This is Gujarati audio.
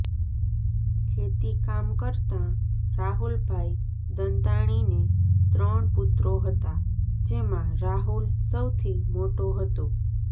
ખેતી કામ કરતાં રાહુલભાઈ દંતાણીને ત્રણ પુત્રો હતા જેમાં રાહુલ સૌથી મોટો હતો